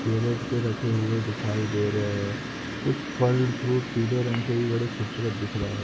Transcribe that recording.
Carrot पे रखे हुए दिखाई दे रहे हैं। कुछ फल फ्रूट पीले रंग के बड़े खूबसूरत दिख रहे हैं।